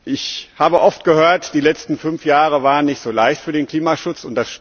Ich habe oft gehört, die letzten fünf Jahre waren nicht so leicht für den Klimaschutz.